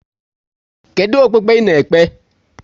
Kedụ okpukpe ị na-ekpe?